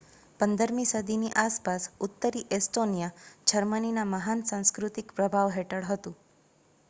15 મી સદીની આસપાસ, ઉત્તરી એસ્ટોનીયા જર્મનીના મહાન સાંસ્કૃતિક પ્રભાવ હેઠળ હતું